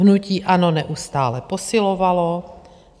Hnutí ANO neustále posilovalo.